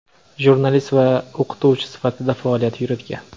jurnalist va o‘qituvchi sifatida faoliyat yuritgan.